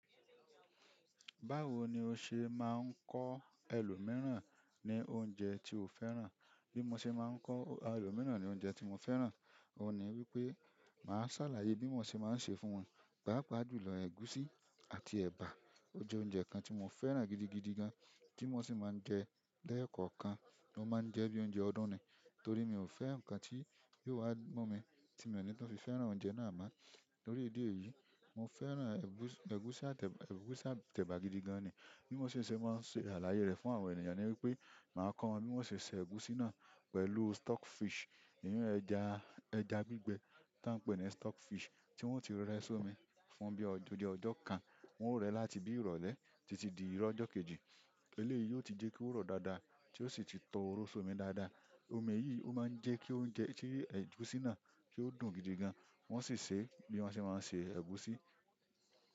Báwo ni o ṣe máa ń kọ́ ẹlòmíràn ní oúnjẹ tí o fẹ́ràn? Bí mo ṣe máa ń kọ́ ẹlòmíràn ní oúnjẹ tí mo fẹ́ràn, òun ni wípé màá ṣàlàyé bí mo ṣe máa ń ṣe fún wọn. Paapa jùlọ ẹ̀gúsí àti ẹ̀bà, ó jẹ́ oúnjẹ kan tí mo fẹ́ràn gidigidi gan tí mo sì máa ń jẹ ẹ́ lẹ́ẹ̀kọ̀kan, mo máa ń jẹ ẹ́ bí i oúnjẹ ọdún ni. Torí mi ò fẹ́ ǹkan tí yóò wá mu mi tí mo ní tun fi fẹ́ràn oúnjẹ náà mọ́. Lórí ìdí èyí, mo fẹ́ràn ẹ̀gúsí àti ẹ̀bà gidi gan ni. Bí mo si ṣe máa ń ṣàlàyé rẹ̀ fún àwọn ènìyàn ni wípé, màá kọ́ wọn bí mo ṣe ń ṣe ẹ̀gúsí náà pẹ̀lú stock fish. Ìyẹn ẹja, ẹja gbígbẹ tí wọ́n ń pè ní stock fish tí wọ́n ti rẹ́ sí omi fún bí i ọjọ́ kan, wọ́n ó rẹ̀ láti bí i ìrọ̀lẹ́ títí di ìrọ̀lẹ́ ọjọ́ kejì. Eleyi yo ti je ko ro daa ti o si ti tọ ooro daada. Omi yìí ó máa ń jẹ́ kí oúnjẹ, kí ẹ̀gúsí náà kí ó dùn gidigan. Wọn sì ṣe é bí wọ́n ṣe máa ń ṣe ẹ̀gúsí.